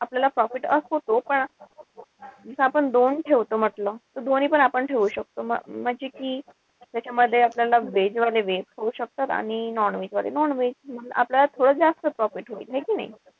आपल्याला profit होतो. पण कस आपण दोन ठेवतो म्हंटल. त दोन्हीपण आपण ठेऊ शकतो. म्हणजे कि त्याच्यामध्ये आपल्याला veg वाले veg खाऊ शकतात. आणि non-veg वाले nonveg. आपल्याला थोडं जास्त profit होईल. है कि नाई?